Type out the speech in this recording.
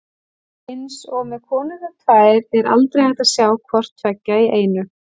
Eins og með konurnar tvær er aldrei hægt að sjá hvort tveggja í einu.